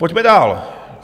Pojďme dál.